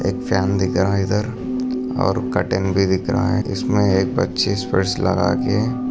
एक फॅन दिख रहा है इधर और कर्टेन भी दिख रहा है इसमे एक लगा के--